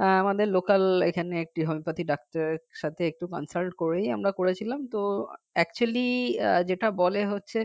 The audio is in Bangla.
আহ আমাদের local এখানে একটি homeopathic ডাক্তারের সাথে একটু consult করে আমরা করেছিলাম তো actually যেটা বলে হচ্ছে